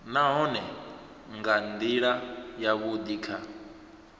nahone nga ndila yavhudi kha